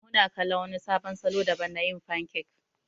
Muna kala wani sabon salo daban na yin fankek.